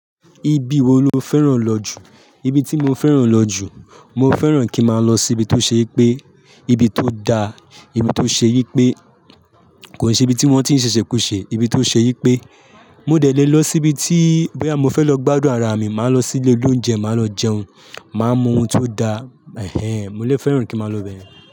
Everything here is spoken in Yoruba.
Ibi wo lo fẹ́ràn lọ jù? Ibi tí mo fẹ́ràn lọ jù, mo fẹ́ràn kí má lọ síbi tó ṣe yí pé, ibi tó da, ibi tó ṣe yí pé kò ṣe ibi tí wọ́n tí ń ṣẹ̀ṣẹ̀ kú ṣe, ibi tó ṣe yí pé mo dẹ̀ le lọ sí ibi tí bóyá mo fẹ́ lọ gbádùn ara mi, má lọ sí ilé oloúnjẹ, má lọ jẹun, má mú ohun tó da. Ehén. Mo lè fẹ́ràn kí má lọ bẹ́yẹn.